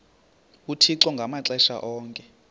uthixo ngamaxesha onke